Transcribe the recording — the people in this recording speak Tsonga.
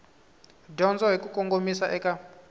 dyondzo hi ku kongomisa eka